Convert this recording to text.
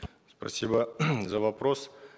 спасибо за вопрос